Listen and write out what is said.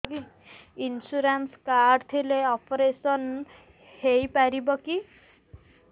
insurance card ଥିଲେ operation ହେଇପାରିବ କି